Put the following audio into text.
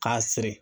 K'a siri